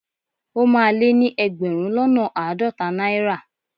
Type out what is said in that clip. O máa lé ní ẹgbẹ̀rún lọ́nà àádọ́ta náírà.